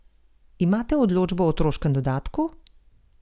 Imate odločbo o otroškem dodatku?